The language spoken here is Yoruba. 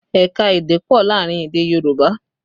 Ẹ̀ka èdè pọ̀ láàrin èdè Yorùbá